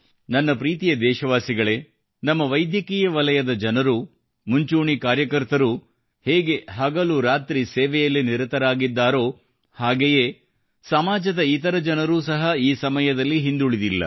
ನನ್ನ ಪ್ರೀತಿಯ ದೇಶವಾಸಿಗಳೇ ನಮ್ಮ ವೈದ್ಯಕೀಯ ವಲಯದ ಜನರು ಮುಂಚೂಣಿ ಕಾರ್ಯಕರ್ತರು ಹೇಗೆ ಹಗಲು ರಾತ್ರಿ ಸೇವೆಯಲ್ಲಿ ನಿರತರಾಗಿದ್ದಾರೋ ಹಾಗೆಯೇ ಸಮಾಜದ ಇತರ ಜನರು ಸಹ ಈ ಸಮಯದಲ್ಲಿ ಹಿಂದುಳಿದಿಲ್ಲ